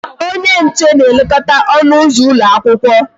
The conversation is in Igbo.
Onye nche na-elekọta ọnụ ụzọ ụlọ akwụkwọ